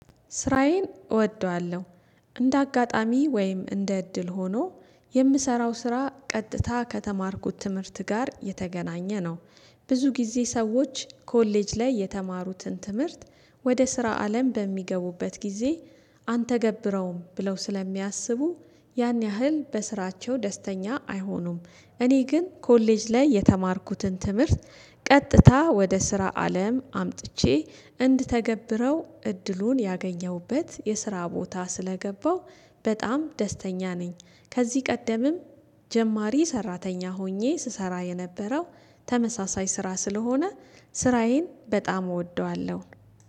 ስራዬን እወደዋለሁ እንደ አጋጣሚ ወይም እንደ እድል ሆኖ የምሰራው ስራ ቀጥታ ከተማርኩት ትምህርት ጋር የተገናኘ ነው። ብዙ ጊዜ ሰዎች ኮሌጅ ላይ የተማሩትን ትምህርት ወደ ስራ አለም በሚገቡበት ጊዜ አንተገብረውም ብለው ስለሚያስቡ ያን ያህል በስራቸው ደስተኛ አይሆኑም። እኔ ግን ኮሌጅ ላይ የተማርኩትን ትምህርት ቀጥታ ወደ ስራ አለም አምጥቼ እንድተገብረው እድሉን ያገኘሁበት የስራ ቦታ ስለገባሁ በጣም ደስተኛ ነኝ። ከዚህ ቀደምም ጀማሪ ሰራተኛ ሆኜ ስሰራ የነበረው ተመሳሳይ ስራ ስለሆነ ስራዬን በጣም እወደዋለሁ